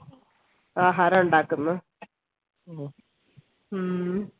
ആഹാരം ഉണ്ടാക്ക്ന്ന് ഹും